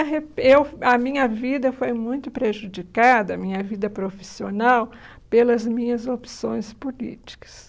eu a minha vida foi muito prejudicada, a minha vida profissional, pelas minhas opções políticas.